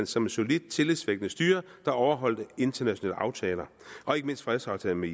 som et solidt tillidsvækkende styre der overholdt internationale aftaler og ikke mindst fredsaftalen med